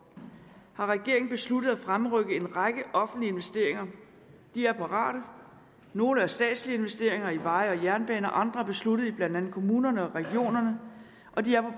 har regeringen besluttet at fremrykke en række offentlige investeringer de er parate nogle er statslige investeringer i veje og jernbaner og andre er besluttet i blandt andet kommunerne og regionerne og de